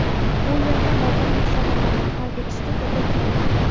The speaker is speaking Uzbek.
Bu yerda og‘ir masalalarni hal etishga to‘g‘ri keldi.